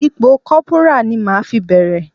Ipò Kọ́púrà ni màá fi bẹ̀rẹ̀.